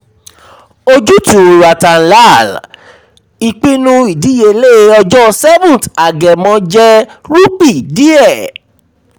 ojútùú ratan lal: ìpinnu ìdíyelé ọjọ 7th agẹmọ jẹ rúpì diẹ.